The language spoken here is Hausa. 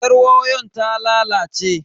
Yaryawon ta lalace.